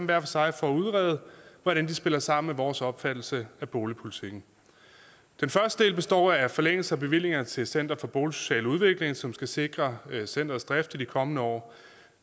hver for sig for at udrede hvordan de spiller sammen med vores opfattelse af boligpolitikken den første del består af forlængelse af bevillinger til center for boligsocial udvikling som skal sikre centerets drift i de kommende år